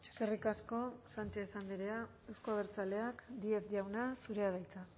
eskerrik asko sánchez andrea euzko abertzaleak díez jauna zurea da hitza